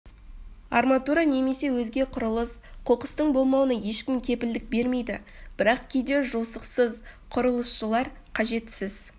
арматура немесе өзге құрылыс қоқыстың болмауына ешкім кепілдік бермейді бірақ кейде жосықсыз құрылысшылар қажетсіз